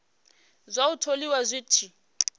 zwa u tholiwa zwi tshi